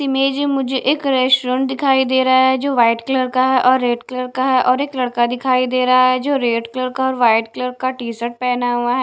image मुझे एक restaurant दिखाई दे रहा है जो वाइट कलर का है और रेड कलर का है और एक लड़का दिखाई दे रहा है जो रेड कलर का वाइट कलर का टी शर्ट पहना हुआ--